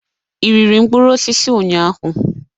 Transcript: Ị riri mkpụrụ osisi ụnyaahụ?